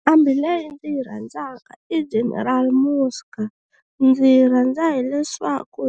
Nqambi leyi ndzi yi rhandzaka i General Muzka ndzi yi rhandza hileswaku